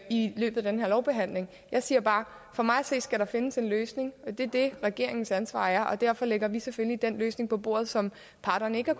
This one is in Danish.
i løbet af den her lovbehandling jeg siger bare at for mig at se skal der findes en løsning det er regeringens ansvar derfor lægger vi selvfølgelig den løsning på bordet som parterne ikke har